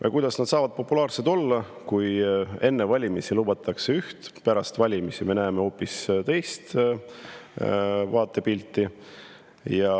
Ja kuidas nad saavadki populaarsed olla, kui enne valimisi lubatakse üht, aga pärast valimisi näeme hoopis teist vaatepilti.